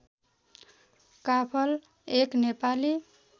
काफल एक नेपाली